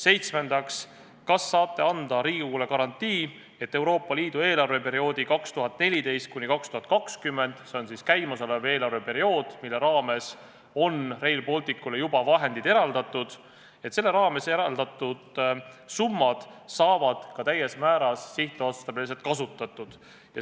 Seitsmendaks, kas saate anda Riigikogule garantii, et Euroopa Liidu eelarveperioodi 2014–2020 – s.o käimasolev eelarveperiood, mille jaoks Rail Balticule on juba vahendid eraldatud – raames eraldatud summad saavad täies mahus sihtotstarbeliselt kasutatud?